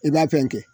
I b'a fɛn kɛ